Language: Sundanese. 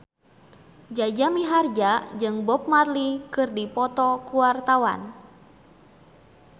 Jaja Mihardja jeung Bob Marley keur dipoto ku wartawan